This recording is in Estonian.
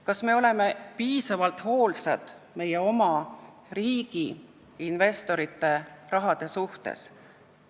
Kas me oleme piisavalt hoolsad meie oma riigi investorite raha suhtes?